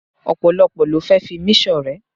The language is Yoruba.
Ọ̀pọ̀lọ́pọ̀ ló fẹ́ fi mí ṣọ̀rẹ́.